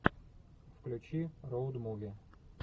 включи роуд муви